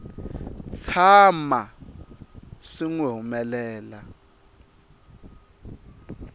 tshama swi n wi humelela